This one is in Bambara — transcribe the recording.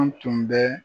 An tun bɛ